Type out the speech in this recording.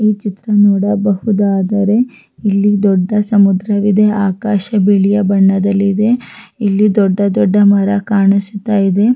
ಈ ಚಿತ್ರ ನೋಡಬಹುದಾದರೆ ಇಲ್ಲಿ ದೊಡ್ಡ ಸಮುದ್ರ ಇದೆ ಆಕಾಶ ಬಿಳಿಯ ಬಣ್ಣದಲ್ಲಿದೆ ಇಲ್ಲಿ ದೊಡ್ಡ ದೊಡ್ಡ ಮರ ಕಾಣಿಸುತ್ತ ಇದೆ.